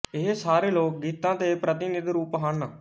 ਇਹ ਸਾਰੇ ਲੋਕ ਗੀਤਾਂ ਦੇ ਪ੍ਰਤੀਨਿਧ ਰੂਪ ਹਨ